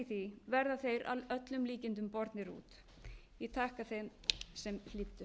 í því verða þeir að öllum líkindum bornir út ég þakka þeim sem hlýddu